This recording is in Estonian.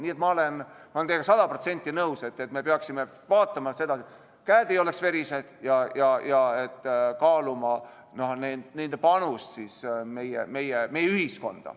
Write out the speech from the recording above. Nii et ma olen teiega sada protsenti nõus, et me peaksime vaatama seda, et käed ei oleks verised, ja kaaluma panust meie ühiskonda.